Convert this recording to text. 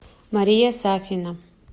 мария сафина